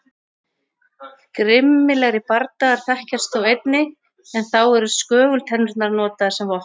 Grimmilegri bardagar þekkjast þó einnig en þá eru skögultennurnar notaðar sem vopn.